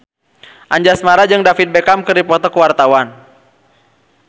Anjasmara jeung David Beckham keur dipoto ku wartawan